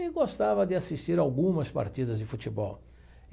e gostava de assistir algumas partidas de futebol.